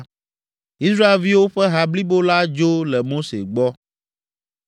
Israelviwo ƒe ha blibo la dzo le Mose gbɔ.